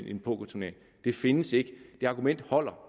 i en pokerturnering det findes ikke det argument holder